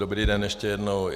Dobrý den ještě jednou.